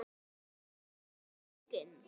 Það var eigin